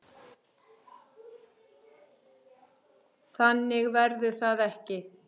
Þannig verður það ekki.